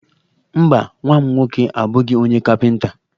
Mba, nwa m nwoke abụghị onye kapịnta.